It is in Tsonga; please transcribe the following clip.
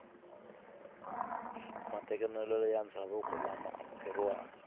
matekanelo ya ndzhavuko lama amukeriwaka